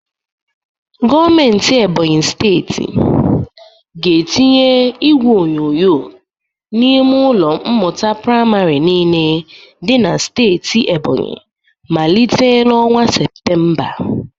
Gometi steeti Ebonyi ga-etinye igwe onyonyo n'ime ụlọ mmụta prịmarị niile dị na steeti Ebonyi malite n'ọnwa Septemba.